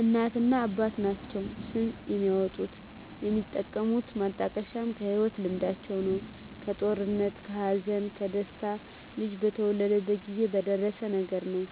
እናትና አባት ናቸዉ ስም የሚያወጡት። የሚጠቀሙት ማጣቀሻም ከህይወት ልምዳቸዉ ነዉ(ከጦርነት ከሀዘን ከደስታ ልጁ በተወለደበት ጊዜ በደረሰዉ ነገር) ነዉ